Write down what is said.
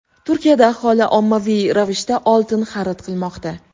Turkiyada aholi ommaviy ravishda oltin xarid qilmoqda.